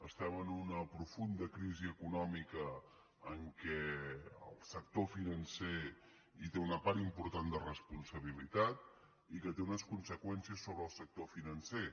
estem en una profunda crisi econòmica en què el sector financer té una part important de responsabilitat i que té unes conseqüències sobre el sector financer